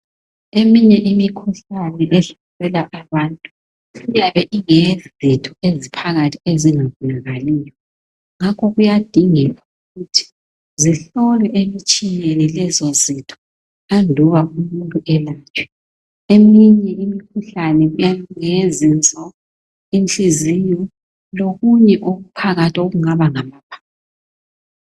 eminye imikhuhlane ehlasela abantu iyabe ibangelwa yizito ezingaphakathi ezingabonakaliyo ngakho kuyadingeka ukuthi zihlolwe emtshineni lezo zito ngaphambi kokuba umuntu ayelatshwe imikhuhlane ngeyezinso, inhliziyo lokunye okuphakathi okungaba ngamaphapho